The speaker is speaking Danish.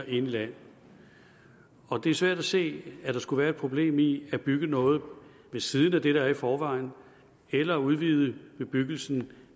i landet og det er svært at se at der skulle være et problem i at bygge noget ved siden af det der er der i forvejen eller udvide bebyggelsen